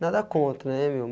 Nada contra, né, meu?